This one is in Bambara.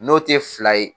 N'o tɛ fila ye